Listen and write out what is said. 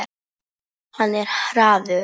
Hann er hraður.